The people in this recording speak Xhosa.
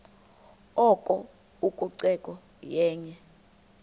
oko ucoceko yenye